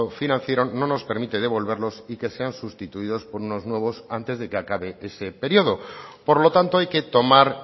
financiero no nos permite devolverlos y que sean sustituidos por unos nuevos antes de que acabe ese periodo por lo tanto hay que tomar